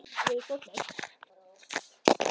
Ertu ekki að fara í veiði með strákunum?